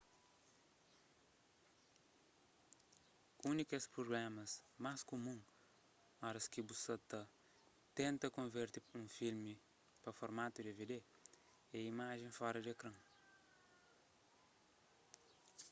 un di kes prublémas más kumun oras ki bu sa ta tenta konverte un filmi pa formatu dvd é imajen fora di ekran